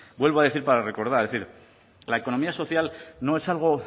vuelvo a decir para recordar es decir la economía social no es algo